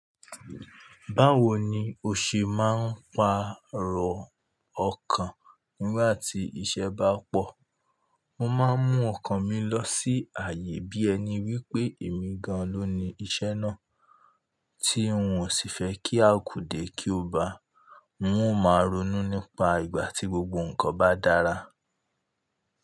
Báwo ni o ṣe máa ń pàrọ̀ ọkàn nígbà tí iṣẹ́ bá pọ̀? Mo máa ń mú ọkàn mi lọ sí ààyè bí ẹni wípé èmi gan-an ló ni iṣẹ́ náà tí ǹ ó sì fẹ́ kí a kù dé kí ó bá. N ó máa ronú nípa ìgbà tí gbogbo nǹkan bá dára.